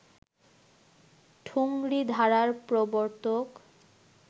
ঠুংরি ধারার প্রবর্তক